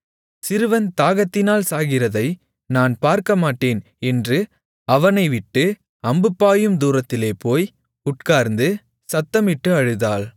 சிறுவன் தாகத்தினால் சாகிறதை நான் பார்க்கமாட்டேன் என்று அவனைவிட்டு அம்பு பாயும் தூரத்திலே போய் உட்கார்ந்து சத்தமிட்டு அழுதாள்